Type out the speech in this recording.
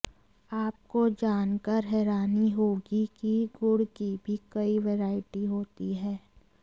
आपको जानकार हैरानी होगी कि गुड़ की भी कई वैरायटी होती है